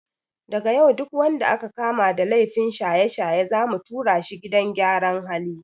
Daga yau duk wanda aka kama da laifin shaye-shaye zamu tura shi gidan gyaran hali.